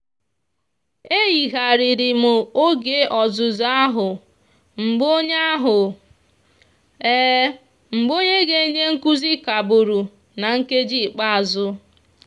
e yigharịrị m oge ọzụzụ ahụ mgbe onye ahụ mgbe onye ga-enye nkuzi kagburu na nkeji ikpeazụ.